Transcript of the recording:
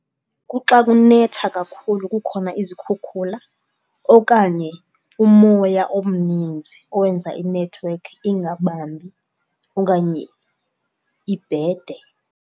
Kuxa kunetha kakhulu kukhona izikhukhula okanye umoya omninzi owenza inethiwekhi ingabambi okanye ibhede.